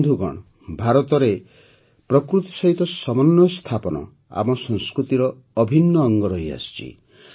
ବନ୍ଧୁଗଣ ଭାରତରେ ତ ପ୍ରକୃତି ସହିତ ସମନ୍ୱୟ ସ୍ଥାପନ ଆମ ସଂସ୍କୃତିର ଅଭିନ୍ନ ଅଙ୍ଗ ରହିଆସିଛି